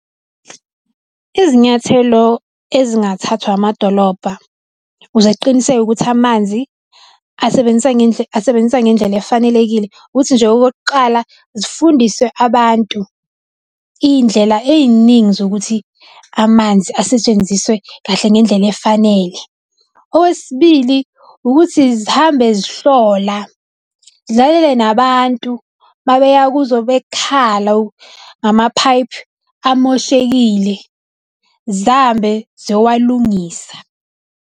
Izinyathelo ezingathathwa amadolobha ukuze kuqinisekwe ukuthi amanzi asebenziswa , asebenziswa ngendlela efanelekile ukuthi nje okokuqala zifundise abantu iy'ndlela ey'ningi zokuthi amanzi asetshenziswe kahle ngendlela efanele. Okwesibili, ukuthi zihambe zihlola zilalele nabantu uma beya kuzo bekhala ngama-pipe amoshekile zihambe ziyowalungisa.